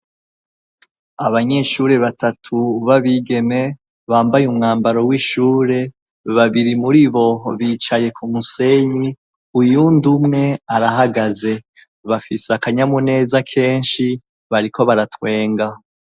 Abanyeshure batatu babigeme bambaye umwambaro w'ishure babiri muri bo bicaye ku musenyi uyundumwe arahagaze, bafise akanyamuneza kenshi bariko baratwenga.